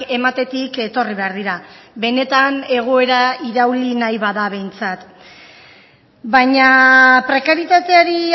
ematetik etorri behar dira benetan egoera irauli nahi bada behintzat baina prekarietateari